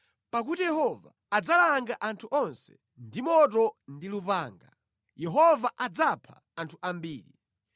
Pakuti Yehova adzalanga anthu onse ndi moto ndi lupanga, Yehova adzapha anthu ambiri.